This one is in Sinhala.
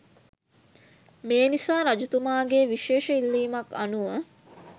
මේ නිසා රජතුමාගේ විශේෂ ඉල්ලීමක් අනුව